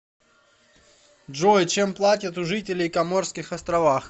джой чем платят у жителей коморских островах